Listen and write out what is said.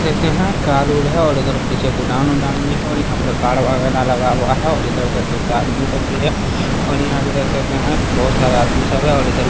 देखते है कार - उर है और उधर पीछे गोडाउन - उडाउन भी है और यहाँ पर कार वगेरा लगा हुआ है और इधर देख सकते आदमी सब भी है और यहाँ पे देख सकते है बहुत सारे आदमी सब है और इधर --